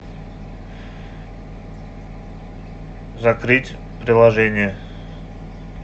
закрыть приложение